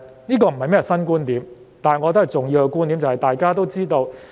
這不是甚麼新觀點，但我認為它是重要的觀點，即大家都知道......